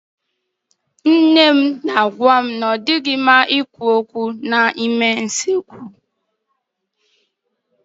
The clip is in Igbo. Nne m na-agwá anyị na ọ dịghị mma ikwu okwu n'ime usekwu.